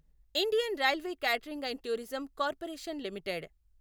Indian railway catering and tourism corporation limited